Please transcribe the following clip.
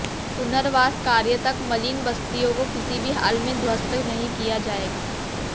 पुनर्वास कार्य तक मलिन बस्तियों को किसी भी हाल में ध्वस्त नहीं किया जाएगा